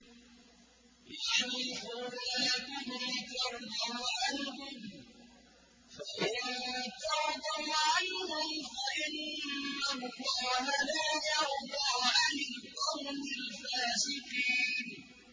يَحْلِفُونَ لَكُمْ لِتَرْضَوْا عَنْهُمْ ۖ فَإِن تَرْضَوْا عَنْهُمْ فَإِنَّ اللَّهَ لَا يَرْضَىٰ عَنِ الْقَوْمِ الْفَاسِقِينَ